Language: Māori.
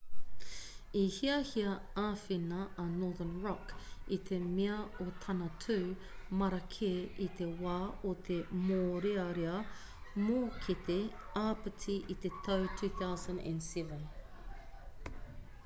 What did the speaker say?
i hiahia āwhina a northern rock i te mea o tana tū marake i te wā o te mōrearea mōkete āpiti i te tau 2007